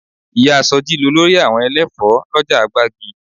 Ìyá sọjí lolórí àwọn ẹlẹ́fọ̀ọ́ lọ́jà gbági